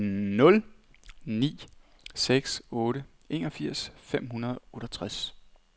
nul ni seks otte enogfirs fem hundrede og otteogtredive